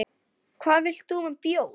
Hvað vilt þú með bjór?